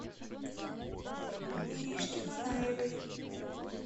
иришки манаевой